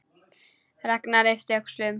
Ragnar yppti öxlum.